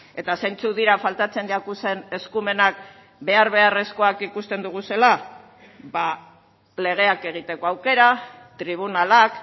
eta zeintzuk dira faltatzen jakuzen eskumenak behar beharrezkoak ikusten duguzela ba legeak egiteko aukera tribunalak